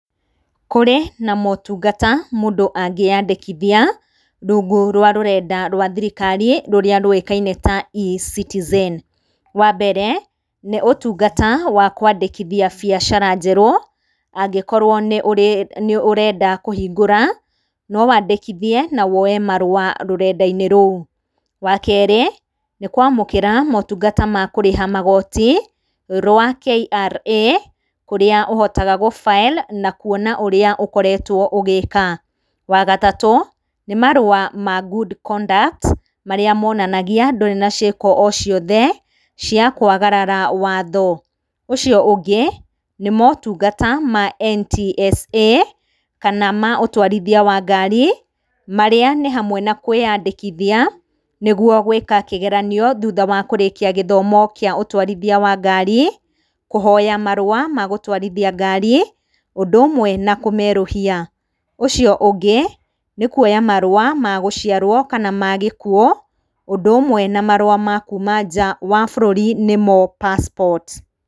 Kũrĩ na motungata mũndũ angĩandĩkithia rungu rwa rũrenda rwa thirikari rũrĩa rũĩkaine ta Ecitizen ,wa mbere nĩũtungata wakwandĩkithia biacara njerũ angĩkorwo nĩũrenda kũhingũra nowandĩkithie na woe marũa rũrendainĩ rũu, wakerĩ nĩkwamũkĩra motungata ma kũrĩha magoti rwa KRA ,rũrĩa ũhotaga gũ file na ũrĩa ũkoretwo ũgĩka, wagatatũ nĩmarũa ma good conduct, marĩa monanagia ndũrĩ na ciĩko ociothe ciakwagarara watho, ũcio ũngĩ nĩmotungata ma NTSA ,kana ma ũtwarithia wa ngari marĩa nĩ hamwe na kwĩandĩkithia nĩguo gwĩka kĩgeranio thutha wa kũrĩkia gĩthomo kĩa ũtwarithia wa ngari, kũhoya marũa ma gũtwarithia ngari ũndũmwe na kũmerũhia, ũcio ũngĩ nĩ kwoya marũa ma gũciarwo kana magĩkuo ũndũ ũmwe na marũa ma kũma nja wa bũrũri nĩmo passport.